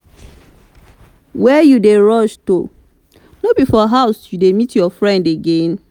where you dey rush to? no be for house you dey meet your friend again?